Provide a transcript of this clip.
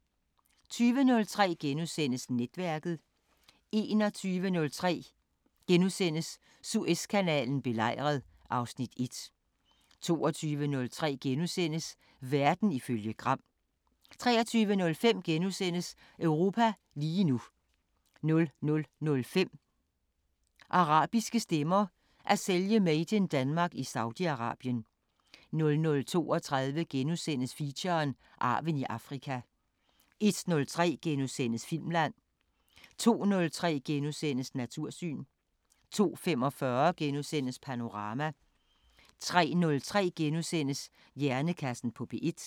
20:03: Netværket * 21:03: Suezkanalen belejret (Afs. 1)* 22:03: Verden ifølge Gram * 23:05: Europa lige nu * 00:05: Arabiske Stemmer: At sælge 'Made In Denmark' i Saudi Arabien 00:32: Feature: Arven i Afrika * 01:03: Filmland * 02:03: Natursyn * 02:45: Panorama * 03:03: Hjernekassen på P1 *